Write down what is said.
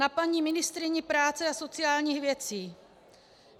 Na paní ministryni práce a sociálních věcí.